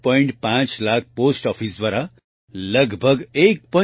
5 lakh post office દ્વારા લગભગ 1